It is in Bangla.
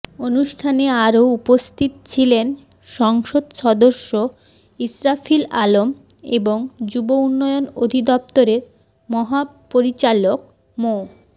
অনুষ্ঠানে আরও উপস্থিত ছিলেন সংসদ সদস্য ইস্রাফিল আলম এবং যুব উন্নয়ন অধিদপ্তরের মহাপরিচালক মো